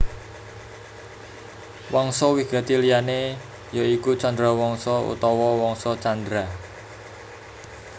Wangsa wigati liyané ya iku Chandrawangsa utawa Wangsa Candra